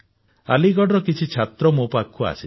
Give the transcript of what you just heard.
ଆଲିଗଡର କିଛି ଛାତ୍ର ମୋ ପାଖକୁ ଆସିଥିଲେ